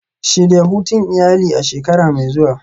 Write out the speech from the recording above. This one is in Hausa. Shirya hutun iyali a shekara mai zuwa.